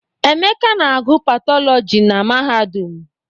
Emeka na agụ Patọlọji na mahadum.